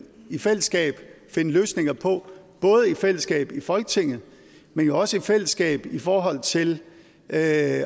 i fællesskab finde løsninger på både i fællesskab i folketinget men jo også i fællesskab i forhold til at